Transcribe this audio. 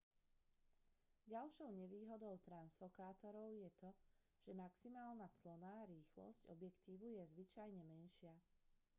ďalšou nevýhodou transfokátorov je to že maximálna clona rýchlosť objektívu je zvyčajne menšia